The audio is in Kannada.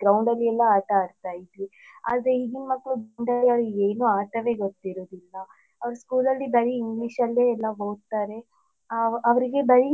Ground ಅಲ್ಲಿ ಎಲ್ಲ ಆಟ ಆಡ್ತಿದ್ವಿ ಅದೇ ಈಗಿನ ಮಕ್ಳು ಗೆ ಏನು ಆಟವೇ ಗೊತ್ತಿರುದಿಲ್ಲ ಅವ್ರು school ಅಲ್ಲಿ ಬರಿ english ಅಲ್ಲೇ ಎಲ್ಲ ಓದ್ತಾರೆ ಅ ಅವ್ರಿಗೆ ಬರಿ